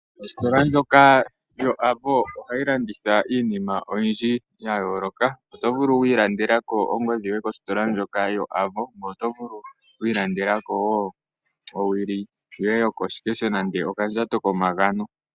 Ositola ndjoka yoAvo ohayi landitha iinima oyindji ya yooloka. Oto vulu oku ilandela ko ongodhi yoye, ngoye oto vulu oku ilandela ko wo owili yoye yokoshikesho nenge okandjato komagano.